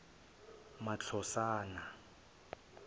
matlosana